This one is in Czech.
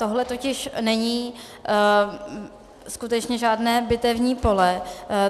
Tohle totiž není skutečné žádné bitevní pole.